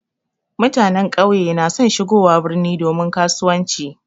Mutanen ƙauye na son shigowa birni domin kasuwanci.